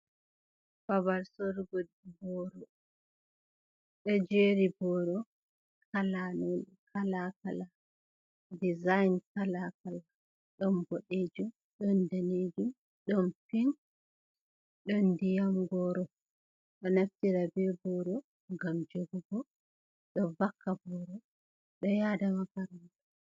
Babal sorugo boro, ɗojeri boro halawol kalakala dizayin kalakala, ɗon boɗejum, ɗon danejum, ɗon pink, ɗon ndiyam goro, ɗo naftira be boro ngam jogugo, ɗo vakka boro, ɗo yada makaranta.